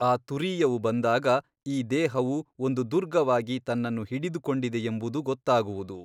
ಆ ತುರೀಯವು ಬಂದಾಗ ಈ ದೇಹವು ಒಂದು ದುರ್ಗವಾಗಿ ತನ್ನನ್ನು ಹಿಡಿದುಕೊಂಡಿದೆಯೆಂಬುದು ಗೊತ್ತಾಗುವುದು.